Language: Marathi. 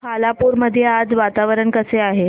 खालापूर मध्ये आज वातावरण कसे आहे